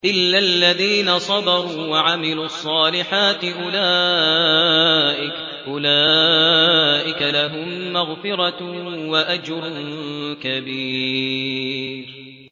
إِلَّا الَّذِينَ صَبَرُوا وَعَمِلُوا الصَّالِحَاتِ أُولَٰئِكَ لَهُم مَّغْفِرَةٌ وَأَجْرٌ كَبِيرٌ